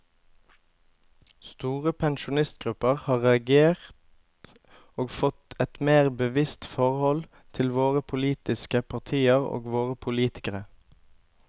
Store pensjonistgrupper har reagert og fått et mer bevisst forhold til våre politiske partier og våre politikere.